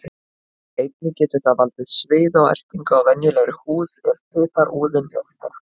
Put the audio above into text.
Einnig getur það valdið sviða og ertingu á venjulegri húð ef piparúðinn er sterkur.